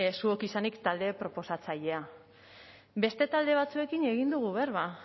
zuok izanik talde proposatzailea beste talde batzuekin egin dugu berba